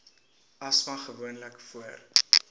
asma gewoonlik voor